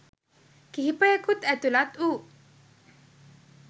කිහිපයකුත් ඇතුලත් වූ